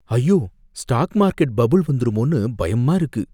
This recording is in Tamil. ஐயோ! ஸ்டாக் மார்க்கெட் பபுள் வந்துருமோன்னு பயமா இருக்கு